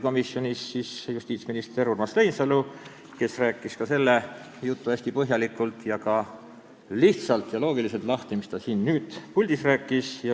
Komisjonis osales arutlusel justiitsminister Urmas Reinsalu, kes rääkis hästi põhjalikult ja ka lihtsalt ja loogiliselt lahti selle jutu, mida ta siin nüüd puldis rääkis.